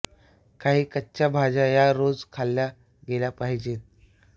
काही कच्च्या भाज्या या रोज खाल्ल्या गेल्या पाहिजेत